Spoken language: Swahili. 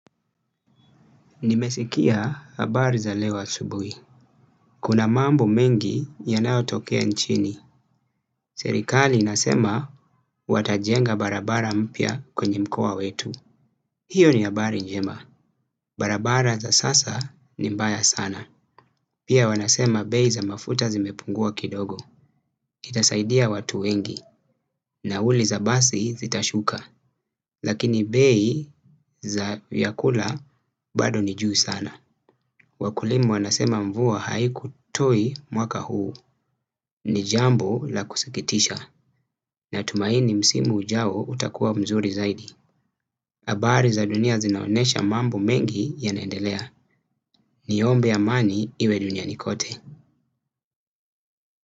Nimesikia habari za leo asubuhi. Kuna mambo mengi yanayo tokea nchini. Serikali inasema watajenga barabara mpya kwenye mkoa wetu. Hiyo ni habari njema. Barabara za sasa ni mbaya sana. Pia wanasema bei za mafuta zimepungua kidogo. Itasaidia watu wengi. Nauli za basi zitashuka. Lakini bei za vyakula bado ni juu sana. Wakulima wanasema mvua haiku toi mwaka huu. Ni jambo la kusikitisha. Natumaini msimu ujao utakuwa mzuri zaidi habari za dunia zinaonesha mambo mengi ya naendelea. Niombe amani iwe dunia nikote.